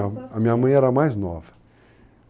Suas tias. A minha mãe era mais nova.